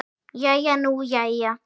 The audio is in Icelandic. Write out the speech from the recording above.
Jæja nú jæja.